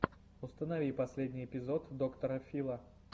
установи последний эпизод доктора фила